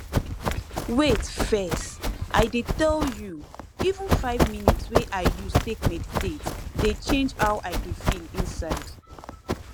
wait first i dey tell you even five minutes wey i use take meditate dey change how i dey feel inside